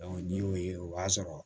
ni y'o ye o b'a sɔrɔ